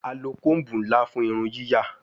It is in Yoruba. A lo comb nla fun irun yiya